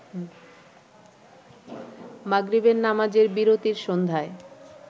মাগরিবের নামাজের বিরতির সন্ধ্যায়